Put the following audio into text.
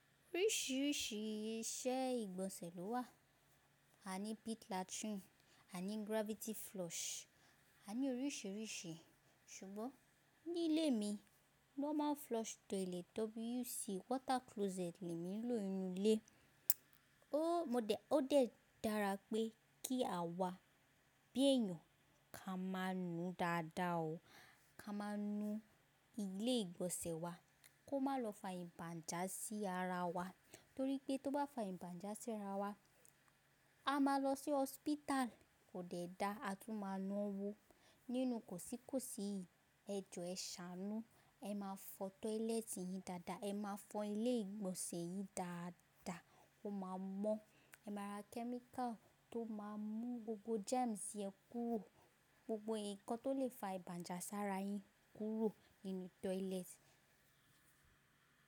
Oríṣìíríṣìí iṣẹ́ ìgbọ̀nsẹ̀ ló wà. A ní pit latrine, a ní gravity flush, a ní oríṣìíríṣìí ṣùgbọ́n, ní ilé mi, normal flush toilet, WC water closet le mi ń lò nínú ilé. Ó dẹ́ dára pé kí awá, bí èèyàn ka máa nù dáadáa o, ka máa nù ilé ìgbọ̀nsẹ̀ wa, kó má lọ fa ìbànjà sí ara wa, torí pé tó bá fa ìbànjà sí ara wa, a máa lọ sí hospital, kò dẹ́ dáa, a tún máa na owó. Nínú kòsí kòsí yii, ẹ jọ ẹ ṣàánú, ẹ máa fọ toilet yín dáadáa, ẹ máa fọ ilé ìgbọ̀nsẹ̀ yín dáadáa, ko máa mọ́. Ẹ máa ra chemical tó máa mú gbogbo germs yẹn kúrò, gbogbo ǹkan tó lè fa ìbànjà sára yín kúrò nínú toilet.